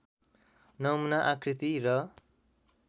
नमुना आकृति र